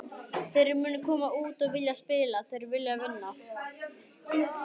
Þeir munu koma út og vilja spila, þeir vilja vinna.